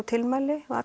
tilmæli